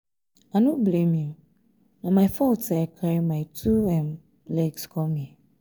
i no blame you na my fault say i carry my two um legs come here